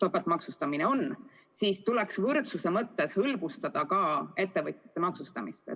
topeltmaksustamine on, siis tuleks võrdsuse mõttes leevendada ka ettevõtjate maksustamist.